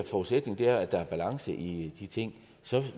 forudsætning af at der er balance i de ting